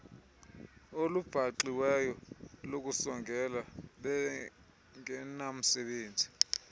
olubaxiweyo lokusongela bengenamsebenzi